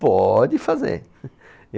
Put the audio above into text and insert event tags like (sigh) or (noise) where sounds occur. Pode fazer. (laughs)